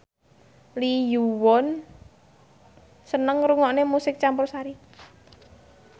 Lee Yo Won seneng ngrungokne musik campursari